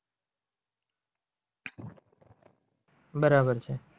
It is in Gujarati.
બરાબર છે.